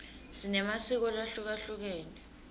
sinemasiko lahlukehlukene